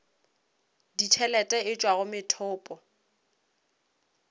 ditšhelete e tšwa go methopo